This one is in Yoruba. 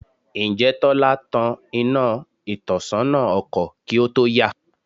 Ǹjẹ́ Tọ́lá tan iná ìtọ́sọ́nà ọkọ̀ kí ó tó yà?